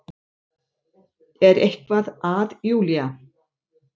Er eitthvað að Júlía?